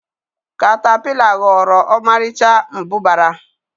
katapila ghọrọ ọmarịcha mbụbara.